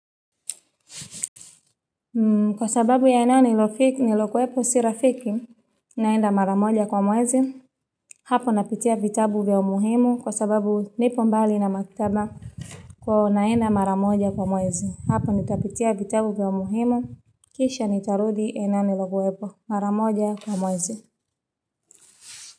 Kwa sababu ya ena nilokuepo si rafiki naenda mara moja kwa mwezi Hapo napitia vitabu vya umuhimu kwa sababu nipo mbali na maktaba kwa hiyo naenda mara moja kwa mwezi hapo nitapitia vitabu vya umuhimu kisha nitarudi tena nilokuepo mara moja kwa mwezi.